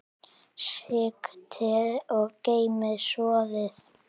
Sigtið og geymið soðið.